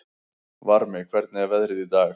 Varmi, hvernig er veðrið í dag?